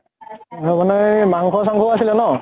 এ মানে মাংস চাংস ও আছিলে ন ।